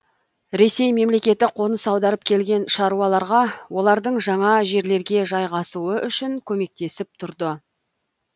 ресей мемлекеті қоныс аударып келген шаруаларға олардың жаңа жерлерге жайғасуы үшін көмектесіп тұрды